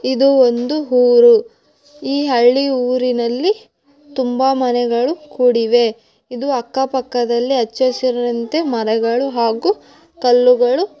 ಇದು ಒಂದು ಊರು. ಈ ಹಳ್ಳಿ ಊರಿನಲ್ಲಿ ತುಂಬಾ ಮನೆಗಳು ಕೂಡಿವೆ ಇದು ಅಕ್ಕ ಪಕ್ಕದಲ್ಲಿ ಹಚ್ಚ ಹಸಿರಿನಂತೆ ಮರಗಳು ಹಾಗು ಕಲ್ಲುಗಳು.